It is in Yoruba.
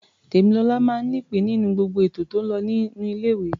Tèmilọlá máa ń nípìn-ín nínú gbogbo ètò tó ń lọ ní ilé-ìwé.